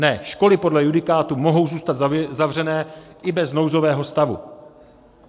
Ne, školy podle judikátu mohou zůstat zavřené i bez nouzového stavu.